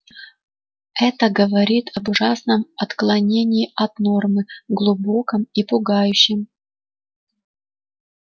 это говорит об ужасном отклонении от нормы глубоком и пугающем